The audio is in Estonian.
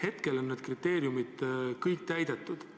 Praegu on need kriteeriumid kõik täidetud.